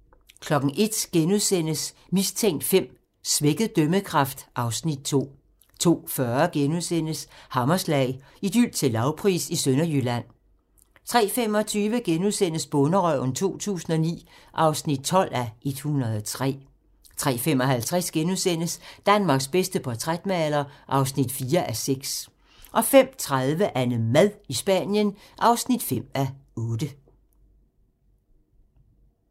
01:00: Mistænkt V: Svækket dømmekraft (Afs. 2)* 02:40: Hammerslag - Idyl til lavpris i Sønderjylland * 03:25: Bonderøven 2009 (12:103)* 03:55: Danmarks bedste portrætmaler (4:6)* 05:30: AnneMad i Spanien (5:8)